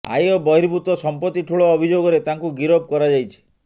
ଆୟ ବହିର୍ଭୁତ ସମ୍ପତ୍ତି ଠୁଳ ଅଭିଯୋଗରେ ତାଙ୍କୁ ଗିରଫ କରାଯାଇଛି